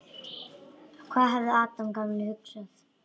Hvað hefði Adam gamli hugsað?